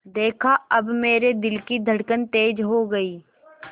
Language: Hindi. देखा अब मेरे दिल की धड़कन तेज़ हो गई